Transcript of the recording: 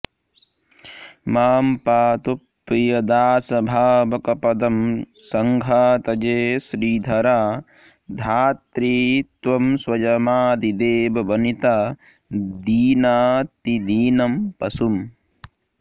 मां पातु प्रियदासभावकपदं संन्घातये श्रीधरा धात्रि त्वं स्वयमादिदेववनिता दीनातिदीनं पशुम्